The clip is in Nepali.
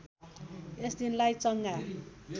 यस दिनलाई चङ्गा